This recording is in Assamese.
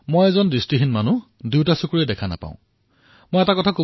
মই দুয়োটা চকুৰে দেখা নাপাওঁ মই সম্পূৰ্ণ অন্ধ